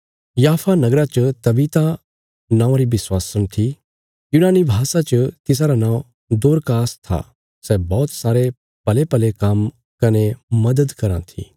याफा नगरा च तबीता नामक विश्वासी थी यूनानी भाषा च तिसारा नौं दोरकास था सै बौहत सारे भलेभले काम्म कने मदद कराँ थी